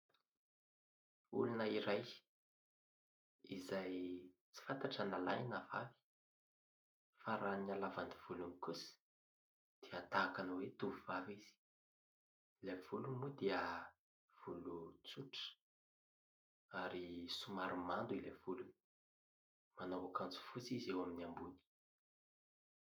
Olona iray izay tsy fantatra na lahy na vavy, fa raha ny halavan'ny volony kosa dia tahaka ny hoe tovovavy izy. Ilay volony aloha dia volo tsotra, ary somary mando ilay volo. Manao akanjo fotsy izy eo amin'ny ambony.